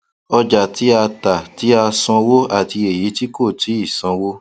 ọjà tí a ta tí a sanwó àti èyí tí kò tíì sanwó